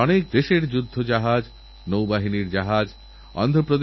আলিগড়ের সাংসদ তাঁদের নিয়ে এসেছিলেন ছেলেমেয়েগুলির উৎসাহ ছিল দেখারমতো